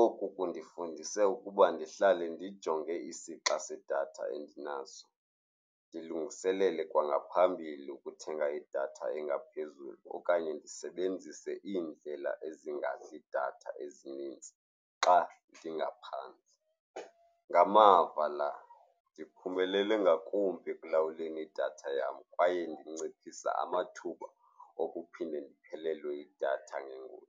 Oku kundifundise ukuba ndihlale ndijonge isixa sadatha endinaso, ndilungiselele kwangaphambili ukuthenga idatha engaphezulu okanye ndisebenzise iindlela ezingadli idatha ezinintsi xa ndingaphantsi. Ngamava la, ndiphumelele ngakumbi ekulawuleni idatha yam kwaye ndinciphisa amathuba okuphinda ndiphelelwe yidatha ngengozi.